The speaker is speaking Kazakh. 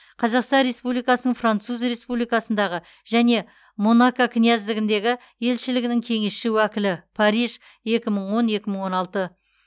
қазақстан республикасының француз республикасындағы және монако князьдігіндегі елшілігінің кеңесші уәкілі париж екі мың он екі мың он алты